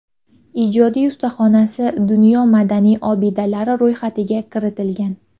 Ijodiy ustaxonasi dunyo madaniy obidalari ro‘yxatiga kiritilgan.